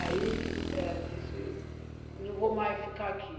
Aí ela disse, não vou mais ficar aqui.